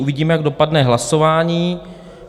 Uvidíme, jak dopadne hlasování.